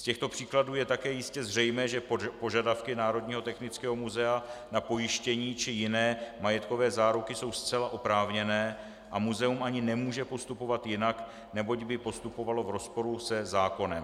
Z těchto příkladů je také jistě zřejmé, že požadavky Národního technického muzea na pojištění či jiné majetkové záruky jsou zcela oprávněné a muzeum ani nemůže postupovat jinak, neboť by postupovalo v rozporu se zákonem.